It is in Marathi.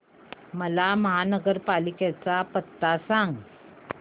मला महापालिकेचा पत्ता सांग